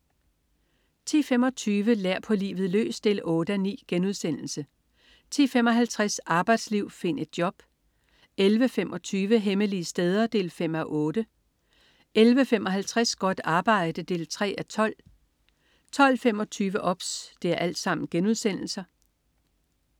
10.25 Lær på livet løs 8:9* 10.55 Arbejdsliv, find et job* 11.25 Hemmelige steder 5:8* 11.55 Godt arbejde 3:12* 12.25 OBS*